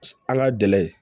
An ka dɛ